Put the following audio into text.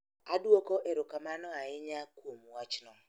Adwoko erokamano ahinya kuom wachno